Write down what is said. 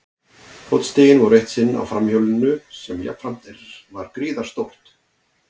Fótstigin voru eitt sinn á framhjólinu sem jafnframt var gríðarstórt.